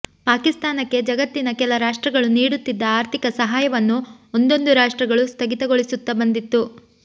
ಪಾಕಿಸ್ತಾನಕ್ಕೆ ಜಗತ್ತಿನ ಕೆಲ ರಾಷ್ಟ್ರಗಳು ನೀಡುತ್ತಿದ್ದ ಆರ್ಥಿಕ ಸಹಾಯವನ್ನು ಒಂದೊಂದು ರಾಷ್ಟ್ರಗಳು ಸ್ಥಗಿತಗೊಳಿಸುತ್ತ ಬಂದಿತ್ತು